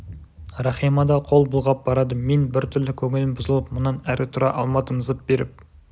рахима да қол бұлғап барады мен біртүрлі көңілім бұзылып мұнан әрі тұра алмадым зып беріп